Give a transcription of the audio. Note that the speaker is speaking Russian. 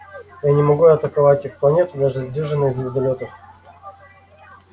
я не могу атаковать их планету даже с дюжиной звездолётов